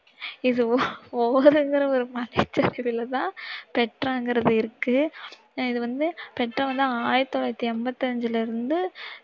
இது ஓர்ங்கிற மலை சரிவில் தான் பெட்ராங்கிறது இருக்கு. இது வந்து பெட்ரா வந்து ஆயிரத்து தொளாயிரத்தி எம்பத்தஞ்சுல இருந்து